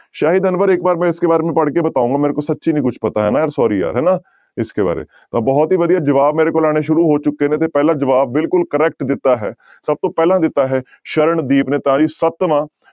ਸ਼ਾਹਿਦ ਅਨਵਰ ਇੱਕ ਵਾਰ ਮੈਂ ਇਸਕੇ ਬਾਰੇ ਮੇ ਪੜ੍ਹਕੇ ਬਤਾਊਂਗਾ ਮੇਰੇ ਕੋ ਸੱਚੀ ਨੀ ਕੁਛ ਪਤਾ ਹੈ am sorry ਯਾਰ ਹਨਾ ਇਸਕੇ ਬਾਰੇ ਮੇ, ਤਾਂ ਬਹੁਤ ਹੀ ਵਧੀਆ ਜਵਾਬ ਮੇਰੇ ਕੋਲ ਆਉਣੇ ਸ਼ੁਰੂ ਹੋ ਚੁੱਕੇ ਨੇ ਤੇ ਪਹਿਲਾ ਜਵਾਬ ਬਿਲਕੁਲ correct ਦਿੱਤਾ ਹੈ ਸਭ ਤੋਂ ਪਹਿਲਾਂ ਦਿੱਤਾ ਹੈ ਸਰਣਦੀਪ ਨੇ ਤਾਂ ਜੀ ਸੱਤਵਾਂ